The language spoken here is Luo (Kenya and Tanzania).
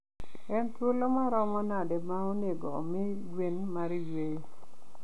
En thuolo maromo nade ma onego omi gwen mar yweyo?